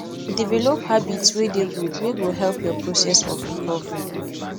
develop habits wey dey good wey go help your process of recovering